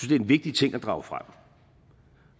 det er en vigtig ting at drage frem